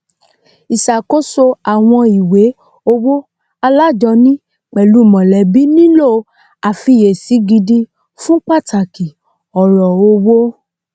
ìṣàkóso àwọn ìwé owó alájọni pẹlú mọlẹbí nílò àfiyèsí gidi fun pàtàkì ọrọ owó